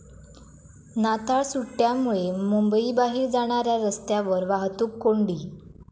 नाताळ सुट्ट्यांमुळे मुंबईबाहेर जाणाऱ्या रस्त्यांवर वाहतूक कोंडी